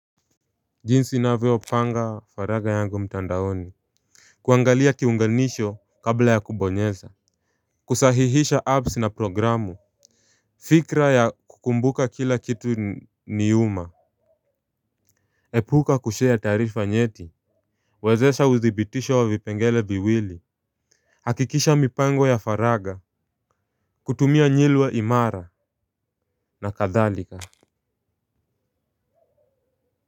Jinsi navyopanga faragha yangu mtandaoni. Kuangalia kiunganisho kabla ya kubonyeza. Kusahihisha apps na programu. Fikra ya kukumbuka kila kitu nyuma. Epuka kushare taarifa nyeti. Wezesha uthibitisho wa vipengele viwili. Hakikisha mipango ya faragha. Kutumia nyilwa imara na kadhalika.